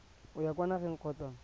o ya kwa nageng kgotsa